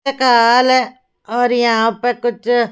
क्या हाल है और यहां पर कुछ--